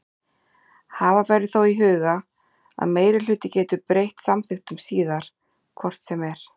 Hafa verður þó í huga að meirihluti getur breytt samþykktum síðar hvort sem er.